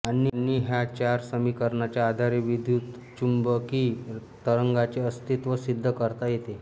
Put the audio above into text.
आणि ह्या चार समीकरणांच्या आधारे विद्युतचुंबकी तरंगांचे अस्तित्व सिद्ध करता येते